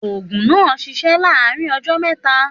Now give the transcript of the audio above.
Ògùn náà sisé láàárín ojó méta